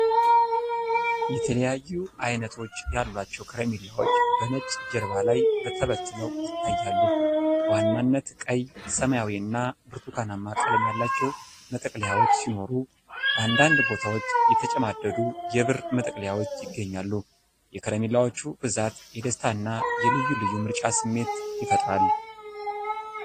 የተለያዩ አይነቶች ያሏቸው ከረሜላዎች በነጭ ጀርባ ላይ ተበትነው ይታያሉ። በዋናነት ቀይ፣ ሰማያዊ እና ብርቱካናማ ቀለም ያላቸው መጠቅለያዎች ሲኖሩ፣ በአንዳንድ ቦታዎች የተጨማደዱ የብር መጠቅለያዎችም ይገኛሉ። የከረሜላዎቹ ብዛት የደስታና የልዩ ልዩ ምርጫ ስሜት ይፈጥራል።